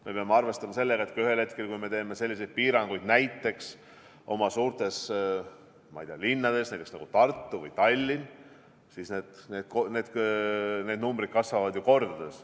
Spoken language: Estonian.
Me peame arvestama sellega, et kui me ühel hetkel teeme selliseid piiranguid oma suurtes linnades, nagu Tartu või Tallinn, siis need numbrid kasvavad ju kordades.